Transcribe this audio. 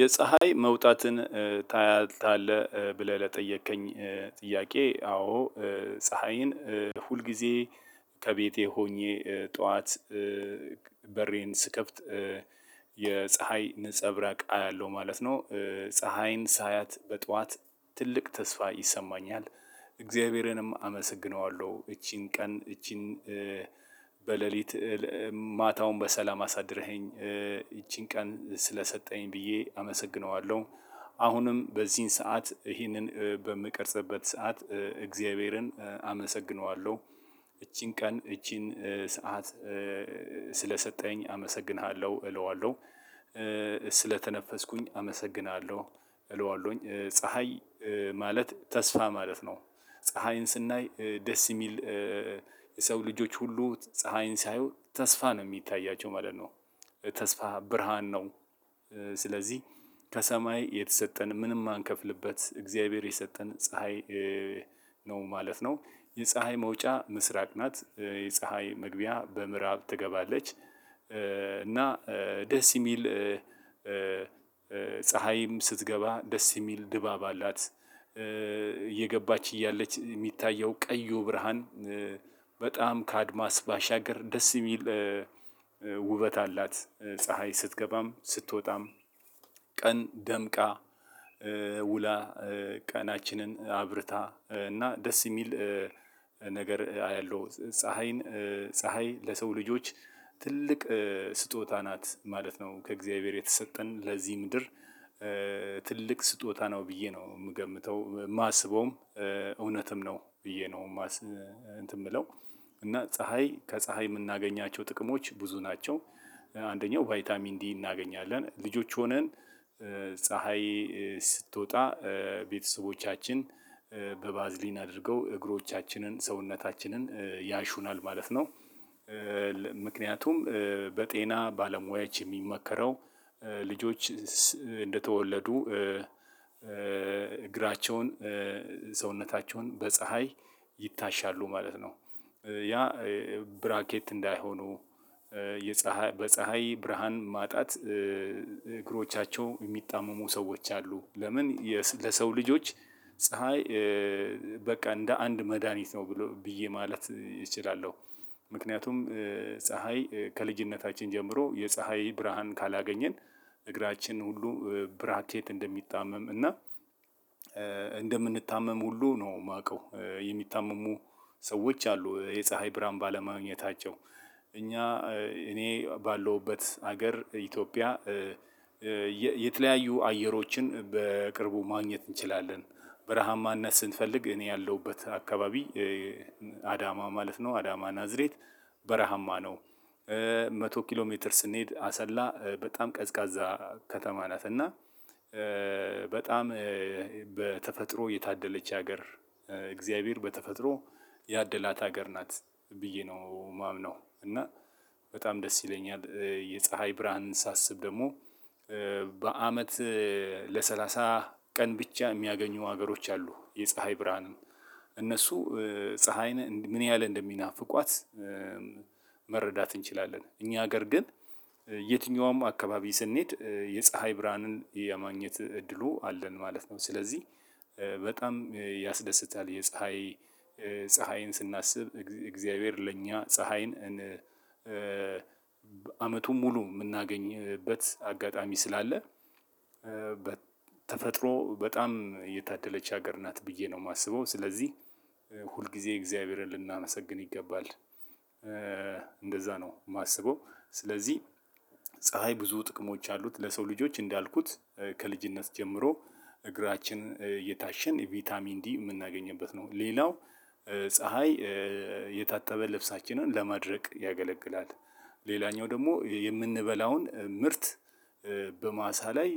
የፀሀይ መውጣትን ታያለህ ብለህ ለጠየከኝ ጥያቄ አዎ ፀሀይን ሁል ጊዜ ከቤቴ ሆኜ ጠዋት በሬን ስከፍት የፀሀይ ንፀብራቅ አያለሁ ማለት ነው። ፀሀይን ሳያት በጧት ትልቅ ተስፋ ይሰማኛል። እግዚአብሔርንም አመሰግነዋለሁ እቺን ቀን እቺን በሌሊት ማታውን በሰላም አሳድረኸኝ ይቺን ቀን ስለሰጠኸኝ ብዬ አመሰግነዋለሁ። አሁንም በዚህን ሰዓት ይህንን በምቀርጽበት ሰዓት እግዚአብሔርን አመሰግነዋለሁ። እቺን ቀን እቺን ሰዓት ስለሰጠኸኝ አመሰግንሃለሁ እለዋለሁ ስለተነፈስኩኝ አመሰግንሃለሁ። እለዋለሁኝ ፀሀይ ማለት ተስፋ ማለት ነው። ፀሀይን ስናይ ደስ የሚል የሰው ልጆች ሁሉ ፀሀይን ሳያዩ ተስፋ ነው የሚታያቸው ማለት ነው። ተስፋ ብርሃን ነው። ስለዚህ ከሰማይ የተሰጠን ምንም ማንከፍልበት እግዚአብሔር የሰጠን ፀሀይ ነው ማለት ነው። የፀሀይ መውጫ ምስራቅ ናት የፀሀይ መግቢያ በምዕራብ ትገባለች። እና ደስ የሚል ፀሀይም ስትገባ ደስ የሚል ድባብ አላት። እየገባች እያለች የሚታየው ቀዩ ብርሃን በጣም ከአድማስ ባሻገር ደስ የሚል ውበት አላት ፀሀይ ስትገባም ስትወጣም። ቀን ደምቃ ውላ ቀናችንን አብርታ እና ደስ የሚል ነገር አያለሁ። ፀሀይን ፀሀይ ለሰው ልጆች ትልቅ ስጦታ ናት ማለት ነው። ከእግዚአብሔር የተሰጠን ለዚህ ምድር ትልቅ ስጦታ ነው ብዬ ነው የምገምተው የማስበውም። እውነትም ነው ብዬ ነው የምለው። እና ፀሀይ ከፀሀይ የምናገኛቸው ጥቅሞች ብዙ ናቸው። አንደኛው ቫይታሚን ዲ እናገኛለን ልጆች ሆነን ፀሀይ ስትወጣ ቤተሰቦቻችን በባዝሊን አድርገው እግሮቻችንን ሰውነታችንን ያሹናል ማለት ነው። ምክንያቱም በጤና ባለሙያዎች የሚመከረው ልጆች እንደተወለዱ እግራቸውን ሰውነታቸውን በፀሀይ ይታሻሉ ማለት ነው። ያ ብራኬት እንዳይሆኑ የፀሀይ በፀሀይ ብርሃን ማጣት እግሮቻቸው የሚጣመሙ ሰዎች አሉ። ለምን ለሰው ልጆች ፀሀይ በቃ እንደ አንድ መድሃኒት ነው ብዬ ማለት እችላለሁ። ምክንያቱም ፀሀይ ከልጅነታችን ጀምሮ የፀሀይ ብርሃን ካላገኘን እግራችን ሁሉ ብራኬት እንደሚጣመም እና እንደምንታመም ሁሉ ነው የማውቀው የሚታመሙ ሰዎች አሉ። የፀሀይ ብርሃን ባለማግኘታቸው እኛ እኔ ባለውበት ሀገር ኢትዮጵያ የተለያዩ አየሮችን በቅርቡ ማግኘት እንችላለን። በረሃማነት ስንፈልግ እኔ ያለሁበት አካባቢ አዳማ ማለት ነው አዳማ ናዝሬት በረሃማ ነው። መቶ ኪሎ ሜትር ስንሄድ አሰላ በጣም ቀዝቃዛ ከተማ ናት። እና በጣም በተፈጥሮ የታደለች ሀገር እግዚአብሔር በተፈጥሮ ያደላት ሀገር ናት ብዬ ነው የማምነው። እና በጣም ደስ ይለኛል የፀሀይ ብርሃንን ሳስብ ደግሞ በአመት ለሰላሳ ቀን ብቻ የሚያገኙ ሀገሮች አሉ። የፀሀይ ብርሃንን እነሱ ፀሀይ ምን ያህል እንደሚናፍቋት መረዳት እንችላለን። እኛ ሀገር ግን የትኛውም አካባቢ ስንሄድ የፀሀይ ብርሃንን የማግኘት እድሉ አለን ማለት ነው። ስለዚህ በጣም ያስደስታል። የፀሀይ ፀሀይን ስናስብ እግዚአብሔር ለኛ ፀሀይን አመቱን ሙሉ የምናገኝበት አጋጣሚ ስላለ በተፈጥሮ በጣም የታደለች ሀገር ናት ብዬ ነው የማስበው። ስለዚህ ሁል ጊዜ እግዚአብሔርን ልናመሰግን ይገባል። እንደዛ ነው የማስበው። ስለዚህ ፀሀይ ብዙ ጥቅሞች አሉት ለሰው ልጆች እንዳልኩት ከልጅነት ጀምሮ እግራችን እየታሸን ቫይታሚን ዲ የምናገኝበት ነው። ሌላው ፀሀይ የታጠበ ልብሳችንን ለማድረቅ ያገለግላል። ሌላኛው ደግሞ የምንበላውን ምርት በማሳ ላይ